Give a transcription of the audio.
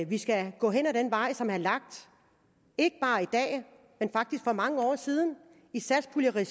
vi skal gå ad den vej som er lagt ikke bare i dag men faktisk for mange år siden i satspuljeregi